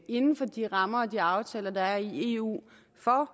inden for de rammer og aftaler der er i eu for